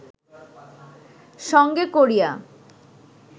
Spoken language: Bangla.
সঙ্গে করিয়া